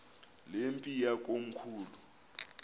le mpi yakomkhulu